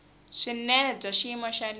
swinene bya xiyimo xa le